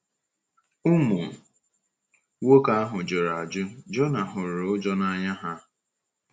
Ụmụ nwoke ahụ jụrụ ajụ; Jona hụrụ ụjọ na anya ha.